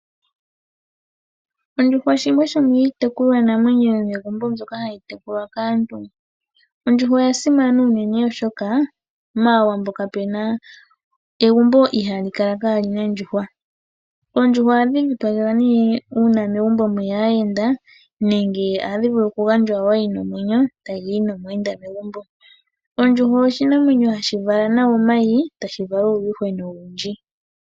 Ondjuhwa shimwe shomiitekulwanamwenyo yomegumbo mbyoka hayi tekulwa kaantu. Ondjuhwa oyasimana unene oshoka mAawambo kapuna egumbo ihaali kala kaalina ondjuhwa. Oondjuhwa ohadhi dhipagelwa nee uuna megumbo mweya aayenda nenge ohadhi vulu kugandjwa wo yina omwenyo tayi yi nomuyenda kegumbo. Ondjuhwa oshinamwenyo hashi vala nawa omayi tashi vala uuyuhwena owundji.